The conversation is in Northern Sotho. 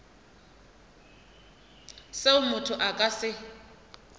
seo motho a ka se